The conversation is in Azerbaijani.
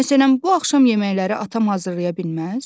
Məsələn, bu axşam yeməkləri atam hazırlaya bilməz?